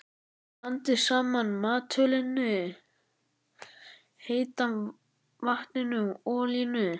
Blandið saman maltölinu, heita vatninu og olíunni.